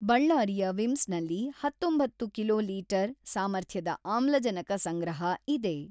ಬಳ್ಳಾರಿಯ ವಿಮ್ಸ್‌ನಲ್ಲಿ ಹತೊಂಬತ್ತು ಕಿಲೋ ಲೀಟರ್ ಸಾಮರ್ಥ್ಯದ ಅಮ್ಲಜನಕ ಸಂಗ್ರಹ ಇದೆ.